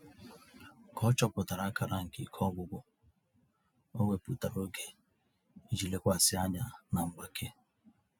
Ka ọ chọpụtara akara nke ike ọgwụgwụ, o wepụtara oge iji lekwasị anya na mgbake.